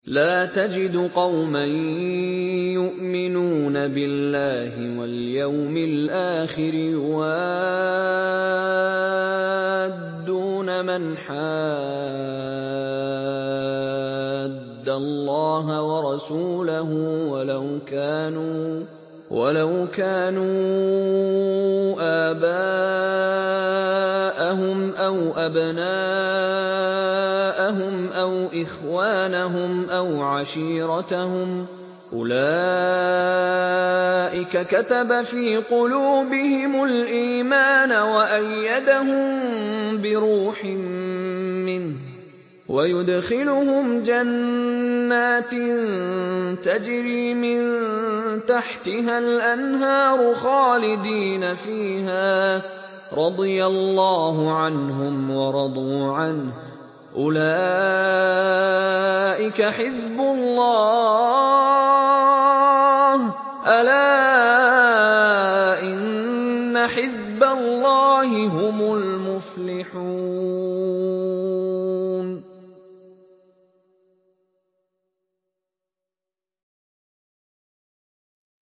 لَّا تَجِدُ قَوْمًا يُؤْمِنُونَ بِاللَّهِ وَالْيَوْمِ الْآخِرِ يُوَادُّونَ مَنْ حَادَّ اللَّهَ وَرَسُولَهُ وَلَوْ كَانُوا آبَاءَهُمْ أَوْ أَبْنَاءَهُمْ أَوْ إِخْوَانَهُمْ أَوْ عَشِيرَتَهُمْ ۚ أُولَٰئِكَ كَتَبَ فِي قُلُوبِهِمُ الْإِيمَانَ وَأَيَّدَهُم بِرُوحٍ مِّنْهُ ۖ وَيُدْخِلُهُمْ جَنَّاتٍ تَجْرِي مِن تَحْتِهَا الْأَنْهَارُ خَالِدِينَ فِيهَا ۚ رَضِيَ اللَّهُ عَنْهُمْ وَرَضُوا عَنْهُ ۚ أُولَٰئِكَ حِزْبُ اللَّهِ ۚ أَلَا إِنَّ حِزْبَ اللَّهِ هُمُ الْمُفْلِحُونَ